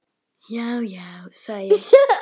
Já, já, sagði ég.